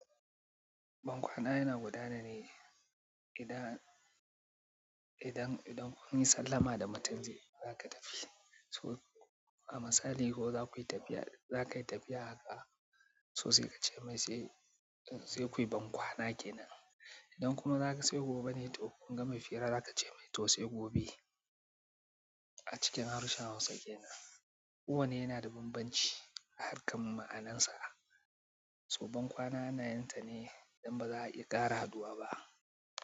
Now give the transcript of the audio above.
Bankwana yana gudana ne idan, idan, idan kun yi sallama da mutum zai, za ka tafi. So a misali ko za ku yi tafiya, in za ka yi tafiya haka so sai ka ce mai sai, sai kuyi bankwana kenan. Idan kuma za ka sai gobe ne, to idan kun gama hira za ka ce mai to sai gobe. A cikin harshen Hausa kenan, kowane yana da bambanci a harkar ma'anansa. So bankwana ana yin ta ne idan ba za a iya ƙara haɗuwa ba.